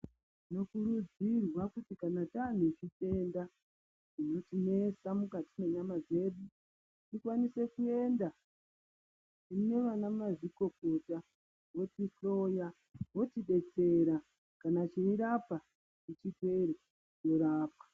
Tinokurudzirwa kuti kana tanezvitenda, zvinotinetsa mukati menyama dzedu , tikwanise kuenda kune vanamazvikokota votihloya, votidetsera kanachiyirapwa chipere nerapwa.